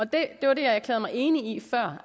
det var det jeg erklærede mig enig i før